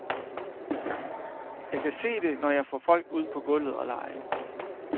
Jeg kan se det, når jeg får folk ud på gulvet og lege.